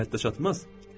İş o həddə çatmaz?